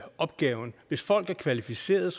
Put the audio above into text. opgaven hvis folk er kvalificerede